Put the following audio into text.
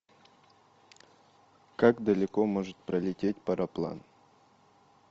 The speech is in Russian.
как далеко может пролететь пароплан